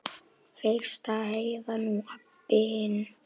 Fyrst Heiða, nú Abba hin.